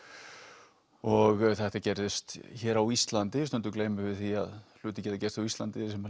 og þetta gerðist hér á Íslandi stundum gleymum við því að hlutir geta gerst á Íslandi sem